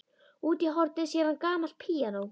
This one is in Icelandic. Úti í horni sér hann gamalt píanó.